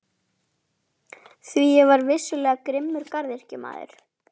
Því ég var vissulega grimmur garðyrkjumaður.